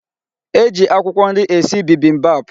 E ji akwụkwọ nri esi bibimbap.